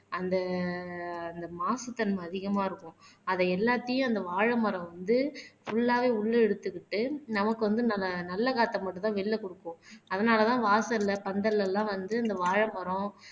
அந்த அந்த மாசுத்தன்மை அதிகமா இருக்கும். அத எல்லாத்தையும் அந்த வாழைமரம் வந்து புல்லாவே உள்ளே இழுத்துக்கிட்டு நமக்கு வந்து நல்ல காற்றை மட்டும்தான் வெளியிலே குடுக்கும் அதனாலதான் வாசல்ல பந்தல்லலாம் வந்து இந்த வாழைமரம்